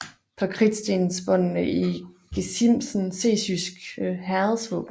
På kridtstensbåndene i gesimsen ses jyske herredsvåben